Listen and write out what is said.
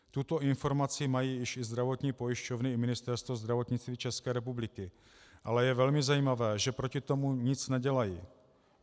Tuto informaci mají už i zdravotní pojišťovny i Ministerstvo zdravotnictví České republiky, ale je velmi zajímavé, že proti tomu nic nedělají.